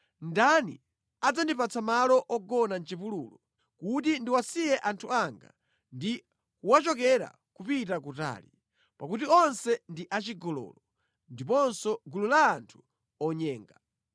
Ndani adzandipatsa malo ogona mʼchipululu kuti ndiwasiye anthu anga ndi kuwachokera kupita kutali; pakuti onse ndi achigololo, ndiponso gulu la anthu onyenga.